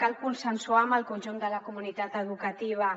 cal consensuar amb el conjunt de la comunitat educativa